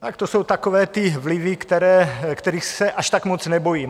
Tak to jsou takové ty vlivy, kterých se až tak moc nebojím.